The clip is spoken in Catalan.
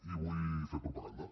i vull fer propaganda